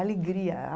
Alegria.